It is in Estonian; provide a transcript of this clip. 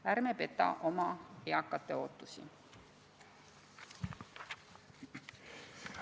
Ärme petame oma eakate ootusi!